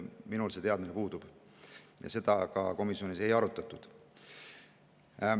Minul see teadmine puudub ja seda ka komisjonis ei arutatud.